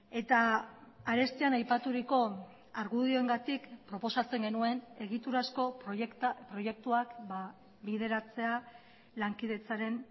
eta arestian aipaturiko argudioengatik proposatzen genuen egiturazko proiektuak bideratzea lankidetzaren